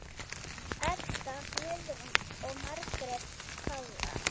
Edda Guðrún og Margrét Pála.